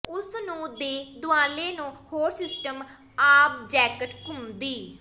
ਉਸ ਨੂੰ ਦੇ ਦੁਆਲੇ ਨੂੰ ਹੋਰ ਸਿਸਟਮ ਆਬਜੈਕਟ ਘੁੰਮਦੀ